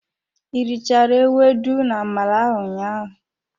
I richara ewedu na-amala ahụ ụnyaahụ?